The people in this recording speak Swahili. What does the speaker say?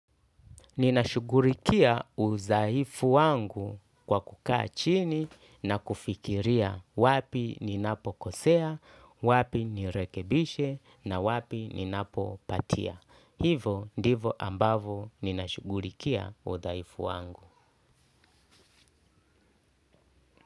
Ninashughulikia udhaifu wangu kwa kukaa chini na kufikiria wapi ninapo kosea, wapi nirekebishe na wapi ninapo patia. Hivo ndivo ambavo ninashughulikia udhaifu wangu.